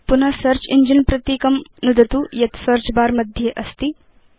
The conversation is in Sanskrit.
पुन सेऽर्च इञ्जिन प्रतीकं नुदतु यत् सेऽर्च बर मध्ये अस्ति